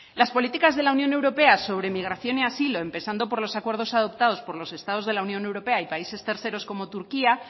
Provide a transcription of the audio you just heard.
las políticas de la unión europea sobre migración y asilo empezando por los acuerdos adoptados por los estados de la unión europea y países terceros como turquía